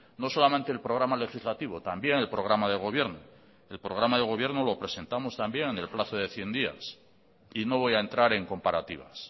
no solamente el programa legislativo también el programa de gobierno el programa de gobierno lo presentamos también en el plazo de cien días y no voy a entrar en comparativas